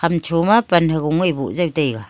chun cho ma pan ha goa bo jaw taiga.